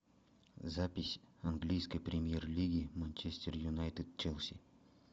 запись английской премьер лиги манчестер юнайтед челси